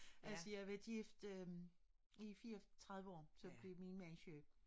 Altså jeg har været gift øh i 34 så blev min mand syg